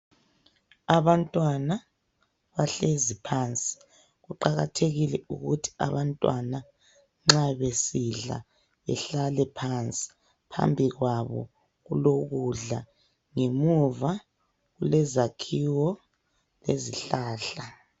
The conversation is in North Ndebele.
Abantwana bahlezi phansi. Kuqakathekile ukuthi abantwana nxa besidla behlale phansi. Phambi kwabo kulokudla, ngemuva kulezakhiwo lezihlahla.